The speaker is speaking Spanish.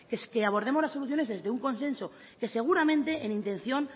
es que abordemos las soluciones desde un consenso que seguramente en intención